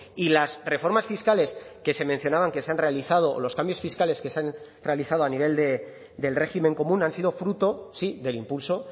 y las reformas fiscales que se mencionaban que se han realizado o los cambios fiscales que se han realizado a nivel del régimen común han sido fruto sí del impulso